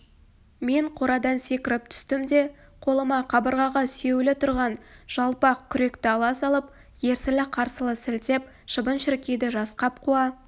мен қорадан секіріп түстім де қолыма қабырғаға сүйеулі түрған жалпақ күректі ала салып ерсілі-қарсылы сілтеп шыбын-шіркейді жасқап қуа